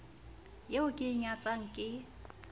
eo ke e nyatsang ke